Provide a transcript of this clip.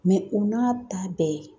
u n'a ta bɛɛ